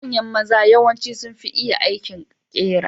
Manyan maza yawanci sunfi iya aikin ƙera.